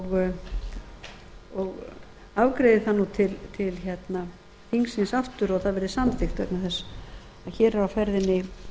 alvöru og afgreiði það nú til þingsins aftur og það verði samþykkt vegna þess að hér er á ferðinni